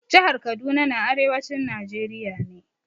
Jihar Kaduna na arewacin Najeriya ne.